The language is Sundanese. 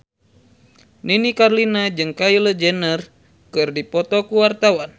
Nini Carlina jeung Kylie Jenner keur dipoto ku wartawan